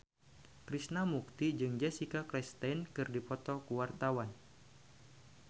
Krishna Mukti jeung Jessica Chastain keur dipoto ku wartawan